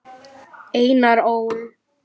Einar Ól.